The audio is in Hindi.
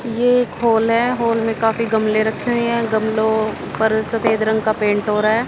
ये एक हॉल है हॉल में काफी गमले रखे हुए हैं गमलो पर सफेद रंग का पेंट हो रहा है।